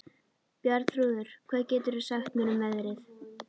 Bjarnþrúður, hvað geturðu sagt mér um veðrið?